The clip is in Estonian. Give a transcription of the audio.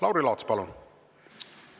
Lauri Laats, palun!